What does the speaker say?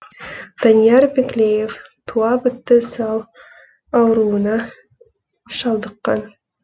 данияр биклеев туа бітті сал ауруына шалдыққан